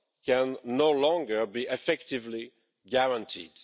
can no longer be effectively guaranteed.